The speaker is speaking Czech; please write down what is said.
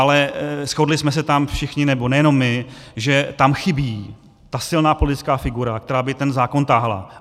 Ale shodli jsme se tam všichni, nebo nejenom my, že tam chybí ta silná politická figura, která by ten zákon táhla.